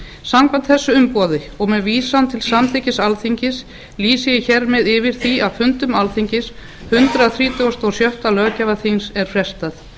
samkvæmt þessu umboði og með vísan til samþykkis alþingis lýsi ég hér með yfir því að fundum alþingis hundrað þrítugasta og sjötta löggjafarþings er frestað